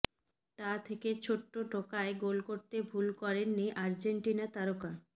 তা থেকে ছোট্ট টোকায় গোল করতে ভুল করেননি আর্জেন্টিনা তারকা